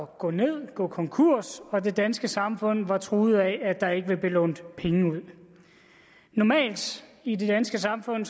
gå ned gå konkurs og det danske samfund var truet af at der ikke ville blive lånt penge ud normalt i det danske samfund